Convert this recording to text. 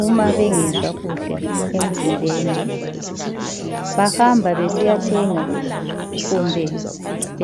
uma bengezwa kuhle emzimbeni. Bahamba besiyathenga, kumbe